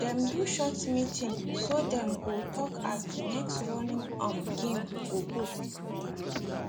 dem do short meeting so dem go talk as the next running um game go go